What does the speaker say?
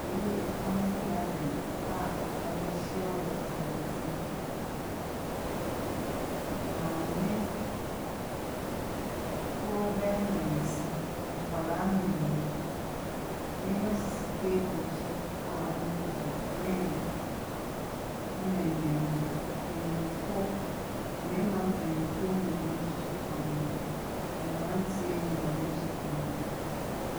Wei yɛ family gathering a wɔahyia wɔ abɔnten. Maamefoɔ bɛyɛ mmiɛnsa, nkwadaa mmienu, nneɛma sisi table so a wɔredi, drink na nnuane. Mpanimfoɔ, mmarima mpanimfo nso ka wɔn ho na mmeranteɛ mmienu nso ka wɔn ho.